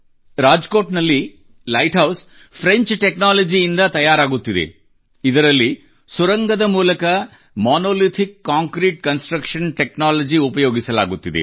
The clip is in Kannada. ರಾಜ್ ಕೋಟ್ ನಲ್ಲಿ ಲೈಟ್ ಹೌಸ್ ಫ್ರೆಂಚ್ ಟೆಕ್ನಾಲಜಿ ನಿಂದ ತಯಾರಾಗುತ್ತಿದೆ ಇದರಲ್ಲಿ ಸುರಂಗದ ಮೂಲಕ ಮೊನೊಲಿಥಿಕ್ ಕಾಂಕ್ರೀಟ್ ಕನ್ಸ್ಟ್ರಕ್ಷನ್ ಟೆಕ್ನಾಲಜಿ ಉಪಯೋಗಿಸಲಾಗುತ್ತಿದೆ